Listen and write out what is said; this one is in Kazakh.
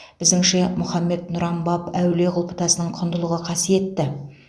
біздіңше мұхаммед нұран баб әулие құлпытасының құндылығы қасиетті